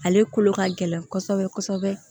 Ale kolo ka gɛlɛn kɔsɔbɛ kɔsɔbɛ